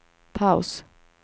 paus